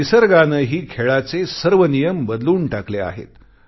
निसर्गानेही खेळाचे सर्व नियम बदलून टाकले आहेत